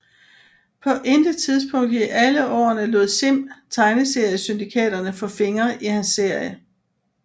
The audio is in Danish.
På intet tidspunkt i alle årene lod Sim tegneseriesyndikaterne få fingre i hans serie